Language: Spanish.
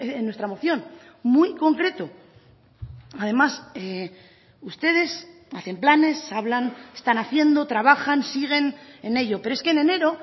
en nuestra moción muy concreto además ustedes hacen planes hablan están haciendo trabajan siguen en ello pero es que en enero